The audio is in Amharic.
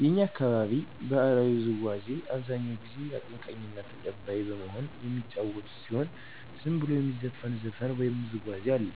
የእኛ አካባቢ ባህላዊ ውዝዋዚ አብዛኛው ጊዜ አቀንቃኝና ተቀባይ በመሆን የሚጫወቱት ሲሆን ዝም ብሎም የሚዘፈን ዘፈን ወይም ውዝዋዜ አለ።